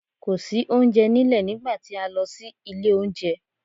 Kò sí oúnjẹ nílẹ̀ nígbà tí a lọ sí ilé oúnjẹ.